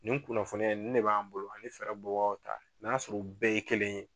Nin kunnafoniya in nin de b'an bolo ani bɔbagaw ta n'a y'a sɔrɔ u bɛɛ ye kelen ye.